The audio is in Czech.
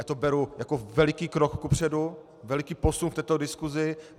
Já to beru jako veliký krok kupředu, veliký posun v této diskusi.